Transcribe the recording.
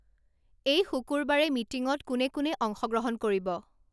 এই শুকুৰবাৰে মিটিংত কোনে কোনে অংশগ্ৰহণ কৰিব